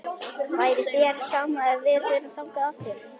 Væri þér sama ef við förum þangað aftur?-